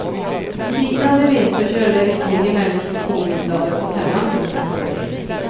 I bitande vinterköld är visserligen människor påbyltade och sällan till sin fördel.